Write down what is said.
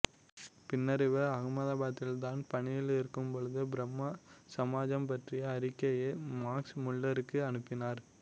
பின்னர் இவர் அகமதாபாத்தில் தான் பணியிலிருக்கும்போது பிரம்ம சமாஜம் பற்றிய அறிக்கையை மாக்ஸ் முல்லருக்கு அனுப்பினார்